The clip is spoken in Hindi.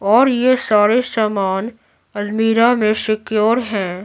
और यह सारे सामान अलमीरा में सिक्योर है।